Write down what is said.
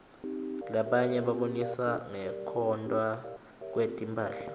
labatiye babonisa ngekwotntwa kwetmphahla